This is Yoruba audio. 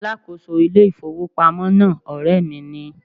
Alákòóso ilé ìfowópamọ́ náà ọ̀rẹ́ mi ni.